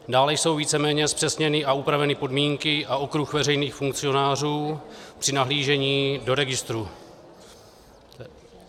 Dále jsou víceméně zpřesněny a upraveny podmínky a okruh veřejných funkcionářů při nahlížení do registrů.